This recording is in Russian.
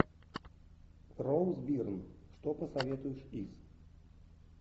роуз бирн что посоветуешь из